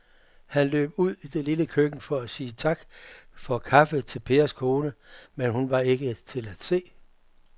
Han løb ud i det lille køkken for at sige tak for kaffe til Pers kone, men hun var ikke til at se.